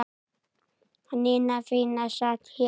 Nína fína sat hjá